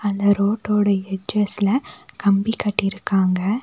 அந்த ரோட்டோட எட்ஜ்ஸ்ல கம்பி கட்டிருக்காங்க.